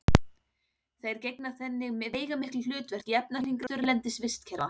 þær gegna þannig veigamiklu hlutverki í efnahringrás þurrlendis vistkerfa